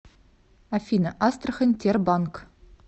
афина астрахань тербанк